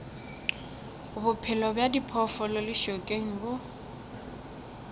bophelo bja diphoofolo lešokeng bo